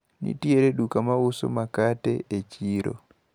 Nitiere duka mauso makate e chiro.